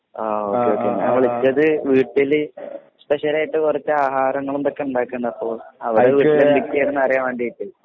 ആ okay okay ഞാൻ വിളിച്ചത് വീട്ടില് സ്‌പെഷ്യലായിട്ട് കൊറച്ചാഹാരങ്ങളും ഇതൊക്കെണ്ടാക്ക്ണ്ട് അപ്പൊ അറിയാൻ വേണ്ടീട്ടെ